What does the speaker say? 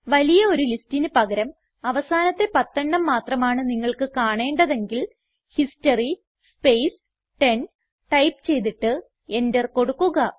വലിയ ഒരു ലിസ്റ്റിന് പകരം അവസാനത്തെ പത്തെണ്ണം മാത്രമാണ് നിങ്ങൾക്ക് കാണേണ്ടതെങ്കിൽ ഹിസ്റ്ററി സ്പേസ് 10 ടൈപ്പ് ചെയ്തിട്ട് എന്റർ കൊടുക്കുക